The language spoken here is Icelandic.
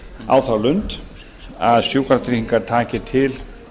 á þá lund að sjúkratryggingar taki til